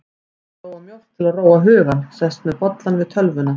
Ég flóa mjólk til að róa hugann, sest með bollann við tölvuna.